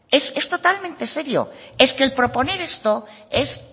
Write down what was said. es totalmente serio es que el proponer esto es